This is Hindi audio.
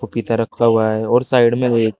पपीता रखा हुआ है और साइड में भी--